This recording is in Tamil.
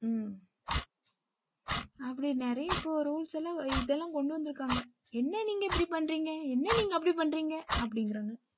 ஹ்ம் அப்படி நெறைய இப்போ rules லாம் இதெல்லாம் கொண்டு வந்துருக்காங்க என்ன நீங்க இப்படி பண்றீங்க? என்ன அப்படி பண்றீங்க?